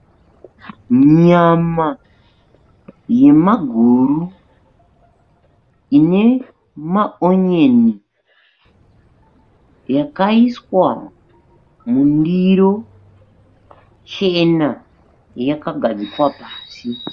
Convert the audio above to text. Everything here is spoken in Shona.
Nyama yemaguru ine maonyeni yakaiswa mundiro chena yakagadzikwa pasi.